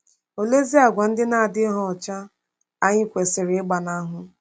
Oleezi àgwà ndị na-adịghị ọcha anyị kwesịrị ịgbanahụ?